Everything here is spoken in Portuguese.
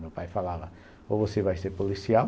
Meu pai falava ou você vai ser policial,